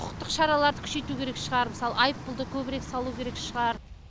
құқықтық шараларды күшейту керек шығар мысалы айыппұлды көбірек салу керек шығар